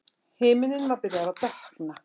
Himinninn var byrjaður að dökkna.